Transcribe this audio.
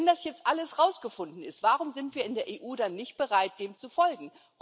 Wenn das jetzt alles herausgefunden ist, warum sind wir in der EU dann nicht bereit dem zu folgen?